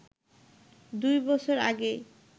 দুই বছর আগেই